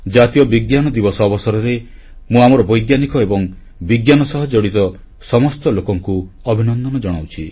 ଜାତୀୟ ବିଜ୍ଞାନ ଦିବସ ଅବସରରେ ମୁଁ ଆମର ବୈଜ୍ଞାନିକ ଏବଂ ବିଜ୍ଞାନ ସହ ଜଡ଼ିତ ସମସ୍ତ ଲୋକଙ୍କୁ ଅଭିନନ୍ଦନ ଜଣାଉଛି